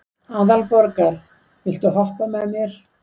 Aðalborgar, viltu hoppa með mér?